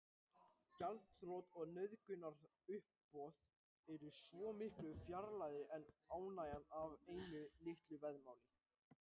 Gjaldþrot og nauðungaruppboð eru svo miklu fjarlægari en ánægjan af einu litlu veðmáli.